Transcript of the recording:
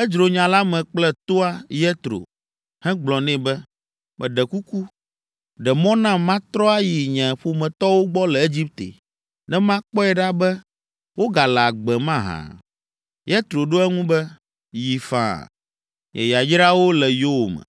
edzro nya la me kple toa, Yetro, hegblɔ nɛ be, “Meɖe kuku, ɖe mɔ nam matrɔ ayi nye ƒometɔwo gbɔ le Egipte ne makpɔe ɖa be wogale agbe mahã?” Yetro ɖo eŋu be, “Yi faa, nye yayrawo le yowòme.”